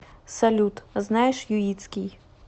салют знаешь юитский